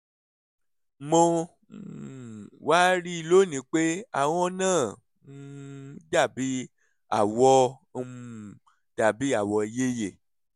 mo um wá rí i lónìí pé ahọ́n náà um dàbí àwọ̀ um dàbí àwọ̀ ìyeyè